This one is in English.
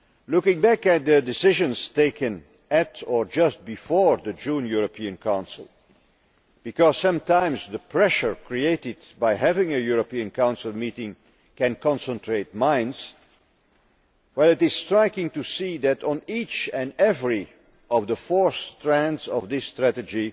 Looking back at the decisions taken at or just before the June European Council because sometimes the pressure created by having a European Council meeting can concentrate minds it is striking to see that on each and every one of the four strands of this strategy